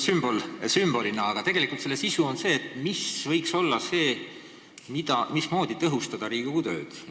Seda sümbolina, aga selle sisu on see, mis võiks olla see, mille abil tõhustada Riigikogu tööd.